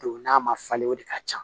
Don n'a ma falen o de ka ca